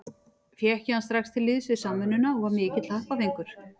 Fékk ég hann strax til liðs við Samvinnuna og var mikill happafengur.